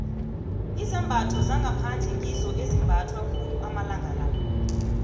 izambatho zangaphandle ngizo ezimbathwa khulu amalanga la